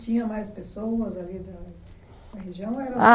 Tinha mais pessoas ali na na região? Ou era Ah